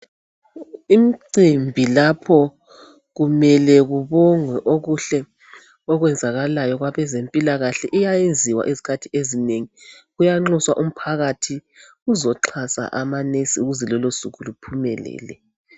Imicimbi lapho kumele kubongwe okuhle okwenzakalayo kwabezempilakahle iyayenziwa izikhathi ezinengi. Kuyanxuswa umphakathi uzoxhasa amanesi ukuze lolo suku luphumelele.